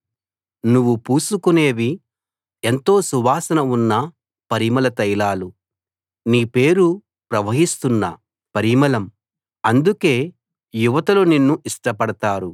నువ్వు పూసుకునేవి ఎంతో సువాసన ఉన్న పరిమళ తైలాలు నీ పేరు ప్రవహిస్తున్న పరిమళం అందుకే యువతులు నిన్ను ఇష్టపడతారు